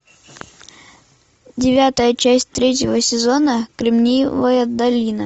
девятая часть третьего сезона кремниевая долина